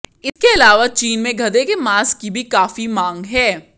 इसके अलावा चीन में गधे के मांस की भी काफी मांग है